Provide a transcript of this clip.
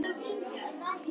Þau tóku boðinu með þökkum.